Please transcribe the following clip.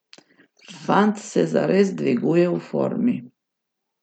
Fant se zares dviguje v formi.